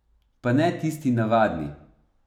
Pa ne tisti navadni.